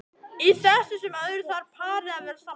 Í þessu sem öðru þarf parið að vera sammála.